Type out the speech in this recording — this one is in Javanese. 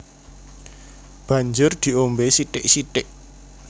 Banjur diombé sithik sithik